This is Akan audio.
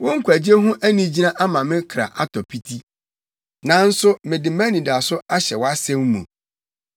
Wo nkwagye ho anigyina ama me kra atɔ piti, nanso mede mʼanidaso ahyɛ wʼasɛm mu.